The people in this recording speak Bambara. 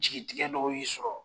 Jigi tigɛ dɔw . y'i sɔrɔ